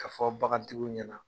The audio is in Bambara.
K'a fɔ bagantigiw ɲɛna.